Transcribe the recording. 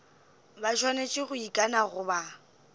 ba swanetše go ikana goba